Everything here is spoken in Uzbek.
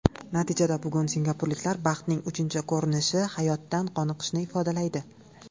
Natijada bugun singapurliklar baxtning uchinchi ko‘rinishi hayotdan qoniqishni ifodalaydi.